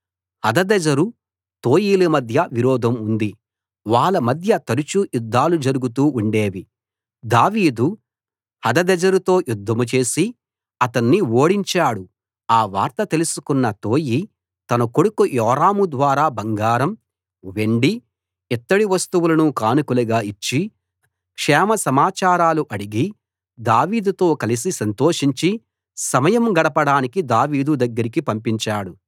హదదెజెరు తోయిల మధ్య విరోధం ఉంది వాళ్ళ మధ్య తరచూ యుద్ధాలు జరుగుతూ ఉండేవి దావీదు హదదెజెరుతో యుద్ధం చేసి అతణ్ణి ఓడించాడు ఆ వార్త తెలుసుకున్న తోయి తన కొడుకు యోరాము ద్వారా బంగారం వెండి ఇత్తడి వస్తువులను కానుకలుగా ఇచ్చి క్షేమ సమాచారాలు అడిగి దావీదుతో కలసి సంతోషించి సమయం గడపడానికి దావీదు దగ్గరికి పంపించాడు